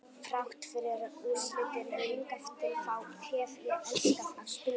Þrátt fyrir úrslitin hingað til þá hef ég elskað að spila leikina.